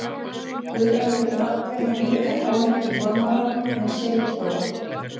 Guðbrandur nafngreinir enga konu í formálanum en segir þó: